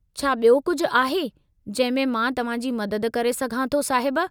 छा बि॒यो कुझु आहे जंहिं में मां तव्हां जी मदद करे सघां थो, साहिब?